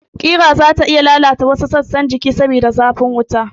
Kira nada zata iya lalata wasu sassa na jiki saboda zafin wuta